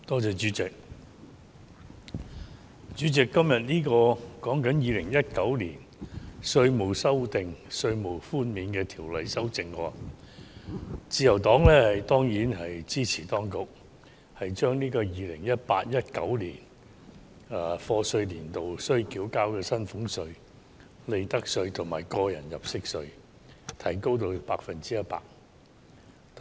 主席，今天討論的是《2019年稅務條例草案》，自由黨當然支持當局將 2018-2019 課稅年度須繳交的薪俸稅、利得稅及個人入息課稅的寬免百分比提升至 100%。